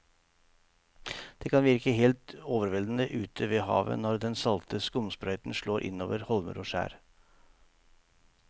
Det kan virke helt overveldende ute ved havet når den salte skumsprøyten slår innover holmer og skjær.